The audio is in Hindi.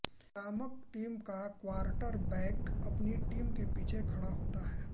आक्रामक टीम का क्वार्टरबैक अपनी टीम के पीछे खड़ा होता है